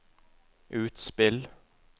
utspill